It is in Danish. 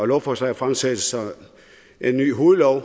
lovforslaget fremsættes så en ny hovedlov